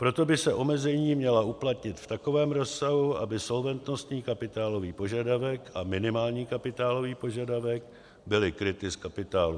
Proto by se omezení měla uplatnit v takovém rozsahu, aby solventnostní kapitálový požadavek a minimální kapitálový požadavek byly kryty z kapitálu.